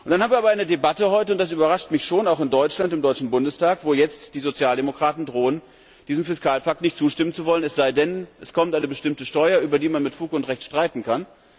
Und dann haben wir heute eine Debatte, und das überrascht mich schon, auch im Deutschen Bundestag, wo jetzt die Sozialdemokraten drohen, diesem Fiskalpakt nicht zuzustimmen, es sei denn, es kommt eine bestimmte Steuer, über die man mit Fug und Recht streiten